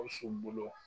Gawusu bolo